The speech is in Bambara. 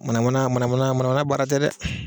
Mana mana mana mana baara tɛ dɛ.